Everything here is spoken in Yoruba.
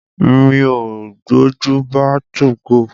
Mi ò gbọ́njù bá 2go.